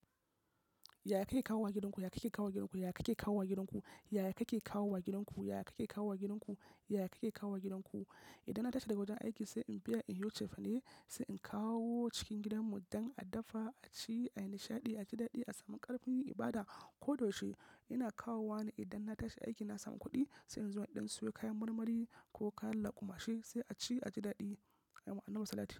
Yaya kake kawo wa gidanku? Yaya kake kawo wa gidanku? Yaya kake kawo wa gidanku? Yaya kake kawo wa gidanku? Yaya kake kawo wa gidanku? Yaya kake kawo wa gidanku? Idan na tashi daga wajen aiki sai in biya in yiwo cefane, sai in kawo cikin gidanmu don a dafa a ci, a yi nishaɗi, a ji daɗi, a samu ƙarfin yin ibada. Ko da yaushe ina kawo wa ne. Idan na tashi aiki na samu kuɗi sai in zo in ɗan sayo kayan marmari ko kayan lakumashi sai a ci a ji daɗi a yawan nau'in salati.